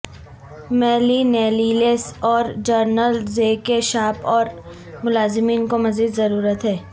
millennials اور جنرل ز کے شاپ اور ملازمین کو مزید ضرورت ہے